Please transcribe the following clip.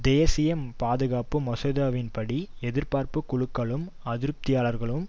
தேசிய பாதுகாப்பு மசோதாவின்படி எதிர்ப்பு குழுக்களும் அதிருப்தியாளர்களும்